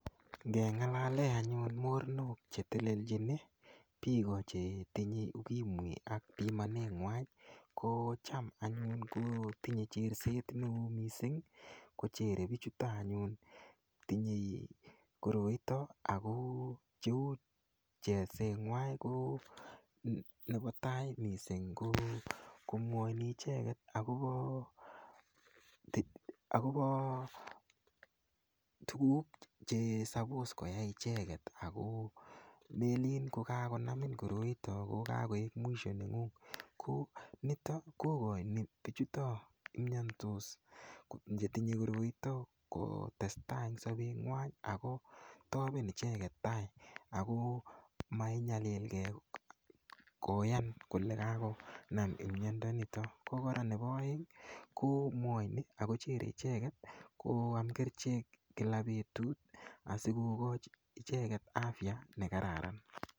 Ngengalale anyun mornok chetelelchini piko chetinyei ukimwi ak pimanengwany ko cham anyun ko tinyei cherset neo mising kocherei pichuto anyun tinyei koroito ako cheu cherset ng'wai ko nepo tai mising ko komwoini icheket akopo tukuk che sapos koyai icheket ako melin ko kakonamin koroito kokakoek mwisho neng'ung ko nito kokoini pichuto mnyandos chetinyei koroito kotesetai eng sopet ng'wai ako topen icheket tai ako mainyalilkei koyan kole kakonam imnyondo nitok ko kora nepo oeng komwoini akocherei icheket koam kerchek kila petut asikokoch icheket afya nekararan.